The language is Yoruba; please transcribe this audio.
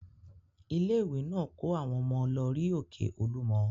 Ilé-ìwé náà kó àwọn ọmọ lọ rí òkè Olúmọ.